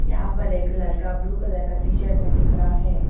यहाँ पर एक लड़का ब्लू कलर का टी शर्ट में दिख रहा है।